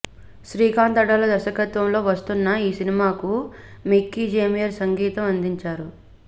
శ్రీకాంత్ అడ్డాల దర్శకత్వంలో వస్తున్న ఈ సినిమాకు మిక్కిజె మేయర్ సంగీతం అందించారు